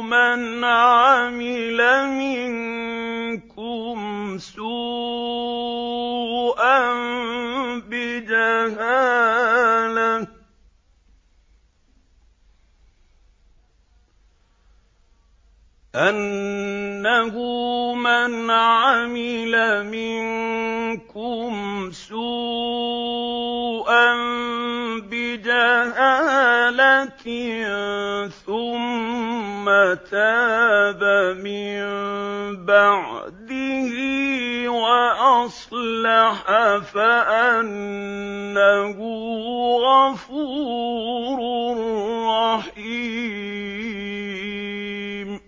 مَنْ عَمِلَ مِنكُمْ سُوءًا بِجَهَالَةٍ ثُمَّ تَابَ مِن بَعْدِهِ وَأَصْلَحَ فَأَنَّهُ غَفُورٌ رَّحِيمٌ